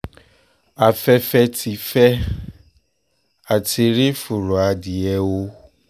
afẹ́fẹ́ ti fẹ́ á ti rí fùrọ̀ adìẹ o